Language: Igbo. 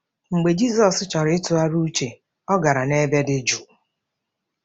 Mgbe Jizọs chọrọ ịtụgharị uche, ọ gara n’ebe dị jụụ.